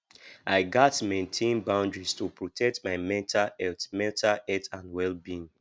i gats maintain boundaries to protect my mental health mental health and wellbeing